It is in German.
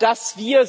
dass wir